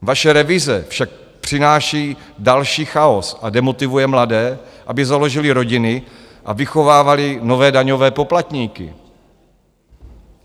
Vaše revize však přináší další chaos a demotivuje mladé, aby založili rodiny a vychovávali nové daňové poplatníky.